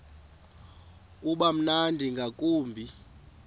uba mnandi ngakumbi